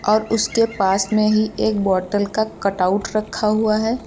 और उसके पास में ही एक बोटल का कट आउट रखा हुआ है।